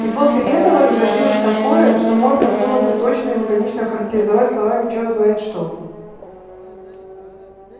и после этого разразилось такое что можно было бы точно и лаконично охарактеризовать словами черт знает что